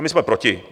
A my jsme proti.